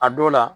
A dɔw la